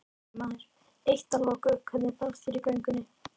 Fréttamaður: Eitt að loku, hvernig fannst þér í göngunni?